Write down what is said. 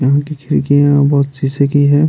यहाँ की खिड़कियाँ बहुत शीशे की है।